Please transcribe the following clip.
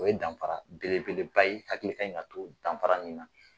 O ye danfara bele beleba ye hakili kan ka to danfara min na.